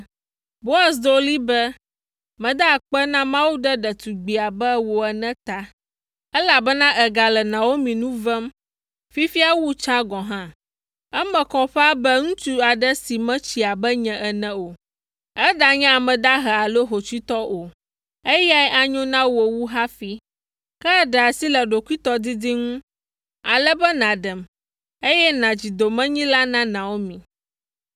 Boaz do ɣli be, “Meda akpe na Mawu ɖe ɖetugbi abe wò ene ta, elabena ègale Naomi nu vem fifia wu tsã gɔ̃ hã. Eme kɔ ƒãa be ŋutsu aɖe si metsi abe nye ene o, eɖanye ame dahe alo hotsuitɔ o, eyae anyo na wò wu hafi. Ke èɖe asi le ɖokuitɔdidi ŋu, ale be nàɖem, eye nàdzi domenyila na Naomi.